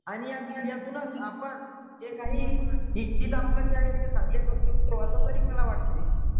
आणि या मीडियातूनच आपण जे काही ते साध्य करू शकतो असं तरी मला वाटते.